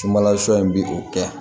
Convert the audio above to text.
Subasɔ in bi o kɛ